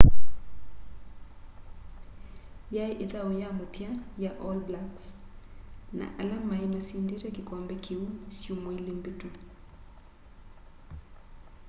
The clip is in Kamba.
yai ithau ya muthya ya all blacks na ala mai masindite kikombe kiu syumwa ili mbitu